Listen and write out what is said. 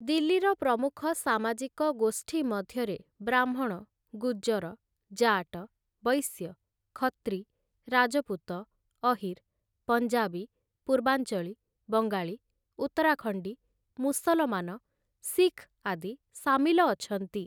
ଦିଲ୍ଲୀର ପ୍ରମୁଖ ସାମାଜିକ ଗୋଷ୍ଠୀ ମଧ୍ୟରେ ବ୍ରାହ୍ମଣ, ଗୁଜ୍ଜର, ଜାଟ, ବୈଶ୍ୟ, ଖତ୍ରୀ, ରାଜପୁତ, ଅହିର୍, ପଞ୍ଜାବୀ, ପୂର୍ବାଂଚଳୀ, ବଙ୍ଗାଳୀ, ଉତ୍ତରାଖଣ୍ଡୀ, ମୁସଲମାନ, ଶିଖ ଆଦି ସାମିଲ ଅଛନ୍ତି ।